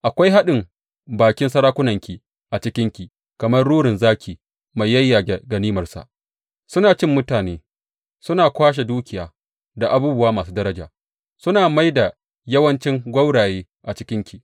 Akwai haɗin bakin sarakunanki a cikinki kamar rurin zaki mai yayyage ganimarsa; suna cin mutane, suna kwashe dukiya da abubuwa masu daraja suna mai da yawanci gwauraye a cikinki.